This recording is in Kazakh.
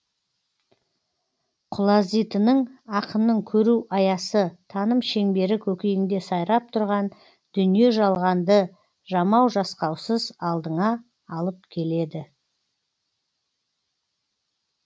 құлазитының ақынның көру аясы таным шеңбері көкейіңде сайрап тұрған дүние жалғанды жамау жасқаусыз алдыңа алып келеді